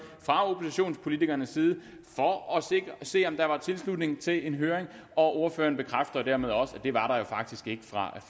fra oppositionspolitikernes side for at se om der var tilslutning til en høring og ordføreren bekræfter dermed også at det var der faktisk ikke fra